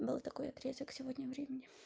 да такой отрезок сегодня времяни